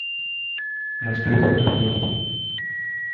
настройка карбюратора